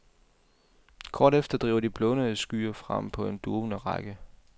Kort efter driver de blånede skyer frem på en duvende række.